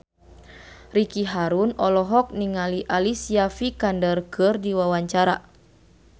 Ricky Harun olohok ningali Alicia Vikander keur diwawancara